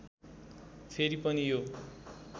फेरि पनि यो